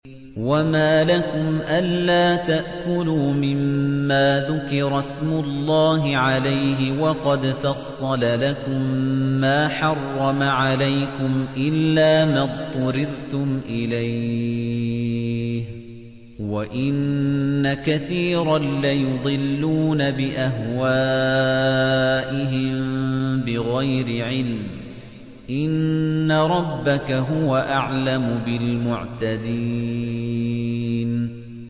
وَمَا لَكُمْ أَلَّا تَأْكُلُوا مِمَّا ذُكِرَ اسْمُ اللَّهِ عَلَيْهِ وَقَدْ فَصَّلَ لَكُم مَّا حَرَّمَ عَلَيْكُمْ إِلَّا مَا اضْطُرِرْتُمْ إِلَيْهِ ۗ وَإِنَّ كَثِيرًا لَّيُضِلُّونَ بِأَهْوَائِهِم بِغَيْرِ عِلْمٍ ۗ إِنَّ رَبَّكَ هُوَ أَعْلَمُ بِالْمُعْتَدِينَ